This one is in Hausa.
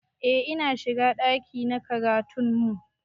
Eh ina shiga ɗakin karatu na makarantar mu